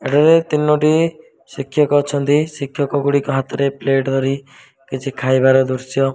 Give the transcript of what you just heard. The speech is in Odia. ଏଠାରେ ତିନୋଟି ଶିକ୍ଷକ ଅଛନ୍ତି ଶିକ୍ଷକ ଗୁଡ଼ିକ ହାତରେ ପ୍ଲେଟ ଧରି କିଛି ଖାଇବାର ଦୃଶ୍ୟ --